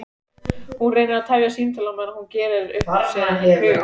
Hún reynir að tefja símtalið á meðan hún gerir upp hug sinn.